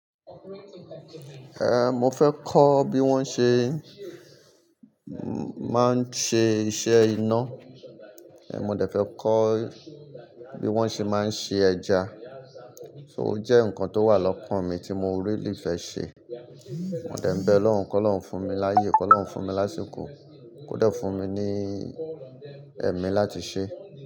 Eh, mo fẹ́ kọ́ bí wón ṣe máa ń ṣe iṣẹ́ iná, eh mo dẹ fẹ́ kọ́ bí wón ṣe máa ń se ẹja. So ó jẹ́ nǹkan tó wà lọ́kan mi tí mo really fẹ́ ṣe. Mo dẹ̀ ń bẹ Ọlọrun, kọ́lọ́run fún mi láyé, kọ́lọ́run fún mi lásìkò, kò dẹ fún mi ní ẹ̀mí láti ṣe.